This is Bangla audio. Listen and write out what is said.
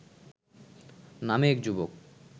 নামে এক যুবক